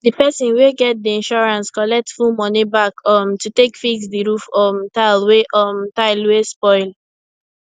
di person wey get di insurance collect full money back um to take fix di roof um tile wey um tile wey spoil